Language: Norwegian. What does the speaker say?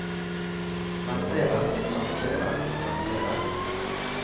lanseres lanseres lanseres